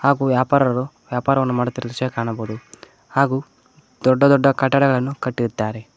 ಹಾಗು ವ್ಯಾಪಾರರು ವ್ಯಾಪಾರವನ್ನು ಮಾಡುತ್ತಿರುವ ದೃಶ್ಯ ಕಾಣಬಹುದು ಹಾಗೂ ದೊಡ್ಡ ದೊಡ್ಡ ಕಟ್ಟಡಗಳನ್ನು ಕಟ್ಟಿದ್ದಾರೆ.